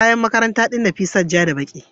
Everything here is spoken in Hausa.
kayan makaranta din Nafisat ja da ɓaki.